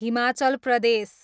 Himachal Pradesh